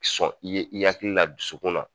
Sɔn i ye, i hakili la dusukun na.